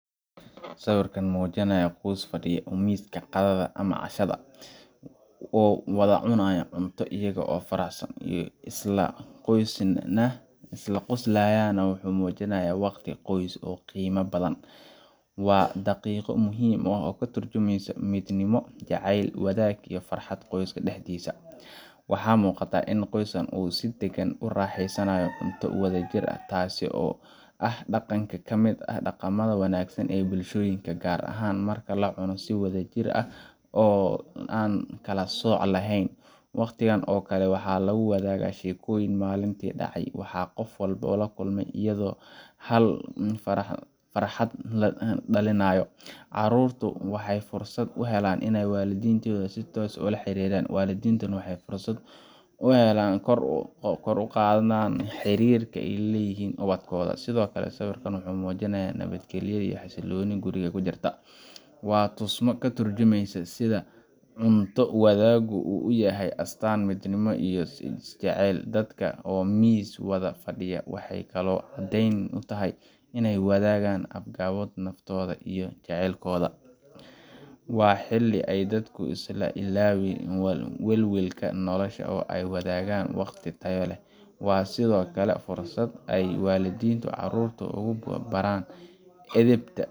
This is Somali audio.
Sawirka muujinaya qoys fadhiya miiska qadada ama cashada, oo wada cunaya cunto iyaga oo faraxsan oo isla qoslayana, wuxuu muujinayaa waqti qoys ee qiimaha badan. Waa daqiiqado muhim ah oo ka tarjumaya midnimo, jacayl, wadaag, iyo farxad qoyska dhexdiisa ah. Waxa muuqata in qoyska uu si degan ugu raaxeysanayo cunto wada jir ah, taas oo ah dhaqan ka mid ah dhaqamada wanaagsan ee bulshooyinka — gaar ahaan marka la cuno si wadajir ah oo aan kala sooc lahayn. Waqtigan oo kale, waxaa la wadaagaa sheekooyin maalintii dhacay, waxa qof walba la kulmay, iyo hadalo farxad dhalinaya. Carruurtu waxay fursad u helaan in ay waalidiintooda si toos ah ula xiriiraan, waalidiintuna waxay helaan fursad ay kor ugu qaadaan xiriirka ay la leeyihiin ubadkooda. Sidoo kale, sawirkan wuxuu muujinayaa nabadgelyo iyo xasillooni guriga ka jirta. Waa tusmo ka tarjumaysa sida cunto wadaaggu uu u yahay astaan midnimo iyo is-jecel. Dadka oo miis wada fadhiya waxay kaloo caddeyn u tahay inay wadaagaan agabkooda, naftooda, iyo jacaylkooda. Waa xilli ay dadku iska ilaawaan welwelka nolosha, oo ay wadaagaan waqti tayo leh. Waa sidoo kale fursad ay waalidiintu carruurta ugu baraan edebta